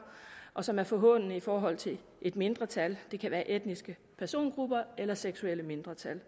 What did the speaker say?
og som er forhånende i forhold til et mindretal det kan være etniske persongrupper eller seksuelle mindretal